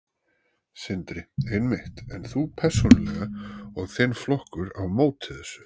Sindri: Einmitt, en þú persónulega og þinn flokkur á móti þessu?